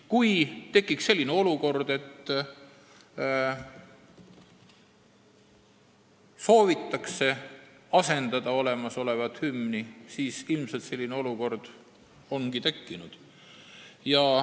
Kui tekib olukord, kus soovitakse olemasolevat hümni asendada, siis ilmselt selline küsimus ongi tekkinud.